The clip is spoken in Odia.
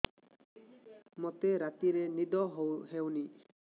ମୋତେ ରାତିରେ ନିଦ ହେଉନି